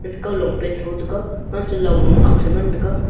kau long pant tho tega an che long nu aak sa ngan tega.